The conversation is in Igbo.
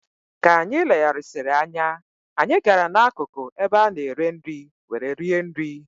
Ka anyị legharịsịrị anya, anyị gara n'akụkụ ebe a na-ere nri were rie nri.